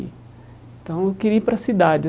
Então eu queria ir para a cidade.